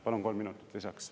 Palun kolm minutit lisaks.